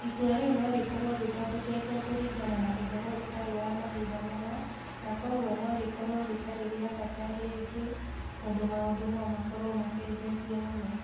Itua rĩo no rĩkorũo rĩthondeketwo kũringana na ũhoro ũtarĩ wa mahinda maya, na kwoguo no rĩkorũo rĩtarĩ rĩa bata rĩngĩ, tondũ maũndũ no makorũo macenjetie mũno.